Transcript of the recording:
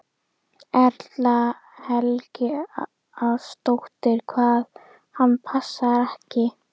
Erla Hlynsdóttir: Hvað, hann passar ekki?